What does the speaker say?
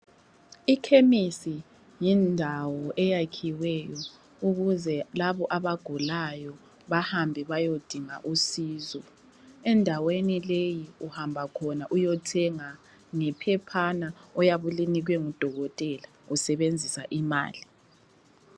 Ikhemisi yindawo eyakhiweyo ukuze labo abagulayo bahambe bayodinga usizo. Endaweni leyi, uhamba khona uyothenga ngephephana oyabe ulinikwe ngudokotela usebenzisa imali.